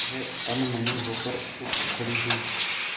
वह अनमनी होकर उठ खड़ी हुई